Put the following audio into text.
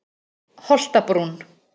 Holtabrún